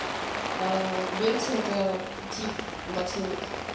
берцы это тип ботинок